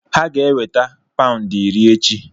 Ha ga-enweta paụndị iri echi.